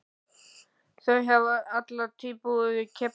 Þau hafa alla tíð búið í Keflavík.